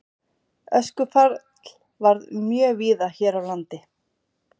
Öskufall varð mjög víða hér á landi.